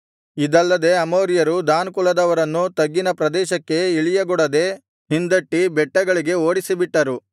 ಇದಲ್ಲದೆ ಅಮೋರಿಯರು ದಾನ್ ಕುಲದವರನ್ನು ತಗ್ಗಿನ ಪ್ರದೇಶಕ್ಕೆ ಇಳಿಯಗೊಡದೆ ಹಿಂದಟ್ಟಿ ಬೆಟ್ಟಗಳಿಗೆ ಓಡಿಸಿಬಿಟ್ಟರು